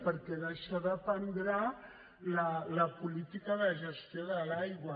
perquè d’això dependrà la política de gestió de l’aigua